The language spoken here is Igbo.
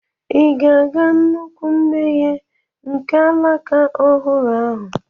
Ị̀ ga-aga nnukwu mmeghe nke alaka ọhụrụ ahụ?